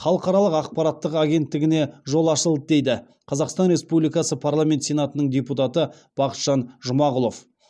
халықаралық ақпараттық агенттігіне жол ашылды дейді қазақстан республикасы парламент сенатының депутаты бақытжан жұмағұлов